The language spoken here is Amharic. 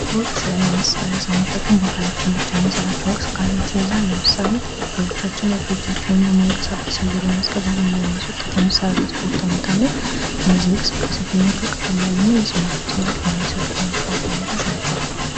ስፖርት ያለመሳሪያ ሳንጠቀም በአካላችን ብቻ የሚሰራቸውን እንቅስቃሴዎችን ይይዛል። ለምሳሌ፦ እግሮቻችን እጆቻችንን በማንቀሳቀስ እግር በማስገባትና በማስወጣት የሚሠራ ስፖርት ዓይነት አለ። እነዚህ እንቅስቃሴዎች የምንላቸው ቀላል ያልሆነ ግን ለሰውነታችን ጥቅም የሚሰጡ የስፖርት ዓይነቶች ናቸው።